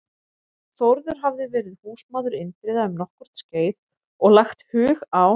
Þórður hafði verið húsmaður Indriða um nokkurt skeið og lagt hug á